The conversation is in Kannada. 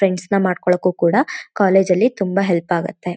ಫ್ರೆಂಡ್ಸ್ ನ ಮಾಡ್ಕೊಳಕ್ಕೂ ಕೂಡ ಕಾಲೇಜ್ ಅಲ್ಲಿ ತುಂಬಾ ಹೆಲ್ಪ್ ಆಗುತ್ತೆ.